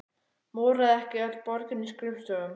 Moraði ekki öll borgin í skrifstofum?